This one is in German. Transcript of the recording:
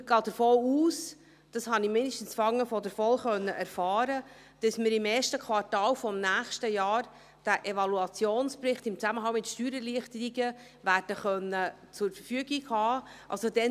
Ich gehe davon aus – dies konnte ich zumindest von der VOL erfahren –, dass man diesen Evaluationsbericht im Zusammenhang mit Steuererleichterungen im ersten Quartal des nächsten Jahres zur Verfügung haben wird.